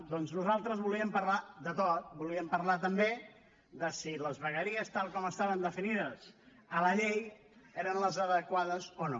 doncs nosaltres volíem parlar de tot volíem parlar també de si les vegueries tal com estaven definides a la llei eren les adequades o no